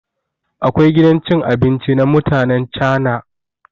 Akwai gidan cin abinci na mutanen cana.